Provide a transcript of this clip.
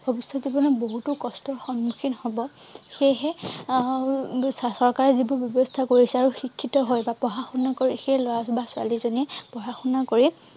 ভবিষ্যত জীৱনত বহুতো কষ্ট সন্মুখীন হব সেইহে আহ চৰকাৰে যি বোৰ ব্যৱস্থা কৰিছে আৰু শিক্ষিত হৈ বা পঢ়া শুনা কৰি সেই লৰা বা ছোৱালীজয়ে পঢ়া শুনা কৰি